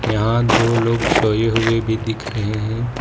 यहां दो लोग सोए हुए भी दिख रहे हैं।